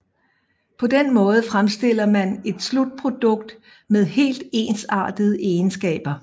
På den måde fremstiller man et slutprodukt med helt ensartede egenskaber